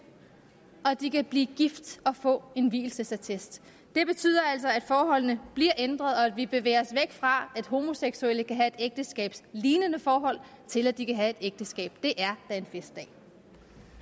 og at de kan blive gift og få en vielsesattest det betyder altså at forholdene bliver ændret og at vi bevæger os væk fra at homoseksuelle kan have et ægteskabslignende forhold til at de kan have et ægteskab det